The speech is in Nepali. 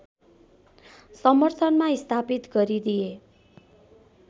समर्थनमा स्थापित गरिदिए